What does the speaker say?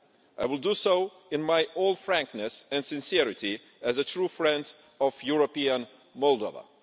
I will do so in all frankness and sincerity as a true friend of European Moldova.